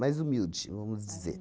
Mais humilde, vamos dizer.